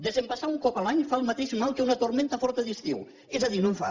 desembassar un cop a l’any fa el mateix mal que una tormenta forta d’estiu és a dir no en fa